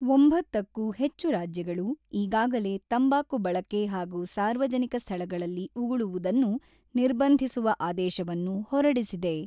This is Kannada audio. ಒಂಬತ್ತಕ್ಕೂ ಹೆಚ್ಚು ರಾಜ್ಯಗಳು ಈಗಾಗಲೇ ತಂಬಾಕು ಬಳಕೆ ಹಾಗೂ ಸಾರ್ವಜನಿಕ ಸ್ಥಳಗಳಲ್ಲಿ ಉಗುಳುವುದನ್ನು ನಿರ್ಬಂಧಿಸುವ ಆದೇಶವನ್ನು ಹೊರಡಿಸಿದೆ.